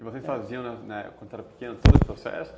E vocês faziam na na, quando eram pequenos, todo esse processo?